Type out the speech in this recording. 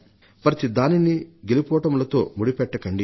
ప్రతి దానినీ గెలుపోటములతో ముడిపెట్టకండి